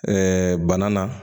bana na